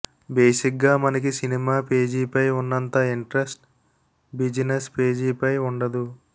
బేసిగ్గా మనకి సినిమా పేజీపై ఉన్నంత ఇంట్రస్ట్ బిజినెస్ పేజీపై వుండదు